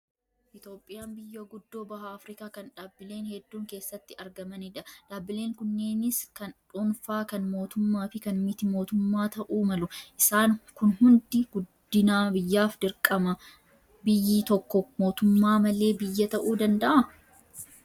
Itoophiyaan biyya guddoo baha Afrikaa kan dhaabbileen hedduun keessatti argamanidha. Dhaabbileen kunneenis kan dhuunfaa, kan mootummaa fi kan miti-mootummaa ta'uu malu. Isaan kun hundi guddina biyyaaf dirqama. Biyyi tokko mootummaa malee biyya ta'uu danda'a?